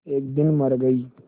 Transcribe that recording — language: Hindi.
एक दिन मर गई